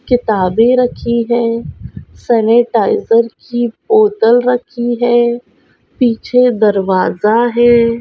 किताबे रखी है सेनिटाइजर की बोतल रखी है पीछे दरवाजा --